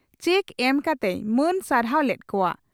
Check ᱮᱢ ᱠᱟᱛᱮᱭ ᱢᱟᱹᱱ ᱥᱟᱨᱦᱟᱣ ᱞᱮᱫ ᱠᱚᱜᱼᱟ ᱾